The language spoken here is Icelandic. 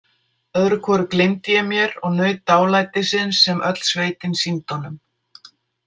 Öðru hvoru gleymdi ég mér og naut dálætisins sem öll sveitin sýndi honum.